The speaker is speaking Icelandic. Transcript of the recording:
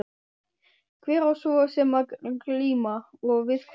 Hver á svo sem að glíma. og við hvern?